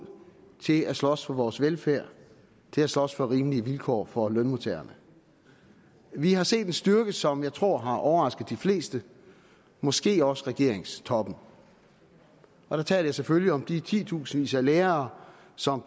til at slås for vores velfærd til at slås for rimelige vilkår for lønmodtagerne vi har set en styrke som jeg tror har overrasket de fleste måske også regeringstoppen og der taler jeg selvfølgelig om de titusindvis af lærere som